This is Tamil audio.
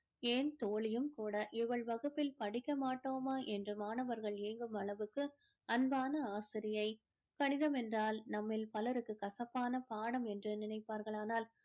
ஏன் தோழியும் கூட இவள் வகுப்பில் படிக்க மாட்டோமா என்று மாணவர்கள் ஏங்கும் அளவுக்கு அன்பான ஆசிரியை கணிதம் என்றால் நம்மில் பலருக்கு கசப்பான பாடம் என்று நினைப்பார்கள் ஆனால்